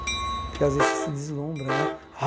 Porque, às vezes, você se deslumbra, né? Ah